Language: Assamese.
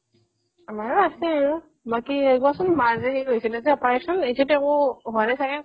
আমাৰো আছেও বাকি এইবছৰ মাৰ যে সেই হৈছিলে যে operation এতিয়াতো একো হোৱা নাই ছাগে ?